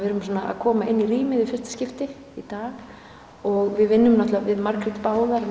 erum svona að koma inn í rýmið í fyrsta skipti í dag og við vinnum náttúrulega við Margrét báðar